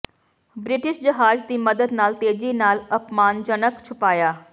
British ਜਹਾਜ਼ ਦੀ ਮਦਦ ਨਾਲ ਤੇਜ਼ੀ ਨਾਲ ਅਪਮਾਨਜਨਕ ਛੁਪਾਇਆ